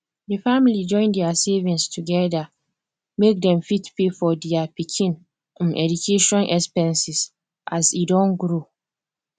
di family join their savings together make dem fit pay for their pikin um education expenses as e don grow